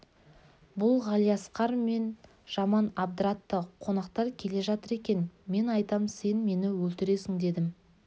бұл ғалиасқар мені жаман абдыратты қонақтар келе жатыр екен мен айтам сен мені өлтіресің дедім